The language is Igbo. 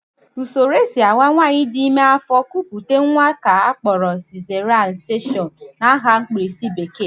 Usoro e si awa nwaanyị dị ime afọ, kupụta nnwa ka a kpọrọ sizeriyan sekshọn (CS) n'aha mkpirisi bekee